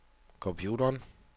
computeren